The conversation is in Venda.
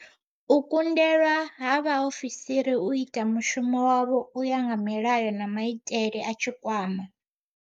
U kundelwa ha vha ofisiri u ita mushumo wavho u ya nga milayo na maitele a Tshikwama.